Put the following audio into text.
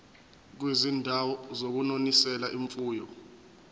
kwizindawo zokunonisela imfuyo